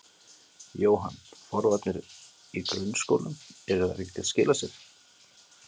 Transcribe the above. Jóhann: Forvarnir í grunnskólum, eru þær ekki að skila sér?